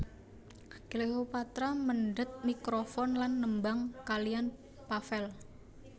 Cleopatra mendhet mikrofon lan nembang kaliyan Pavel